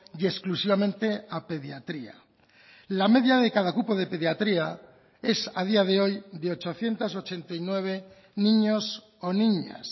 y exclusivamente a pediatría la media de cada cupo de pediatría es a día de hoy de ochocientos ochenta y nueve niños o niñas